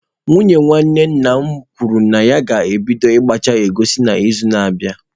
Nwunye nwanne nna m kwuru na ya ga-ebido ịgbacha egusi n'izu na-abịa.